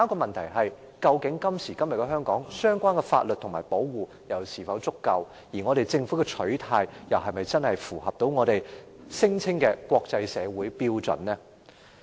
然而，在今時今日的香港，相關法例和保護措施是否足夠，而政府的取態又是否符合我們聲稱的國際社會標準？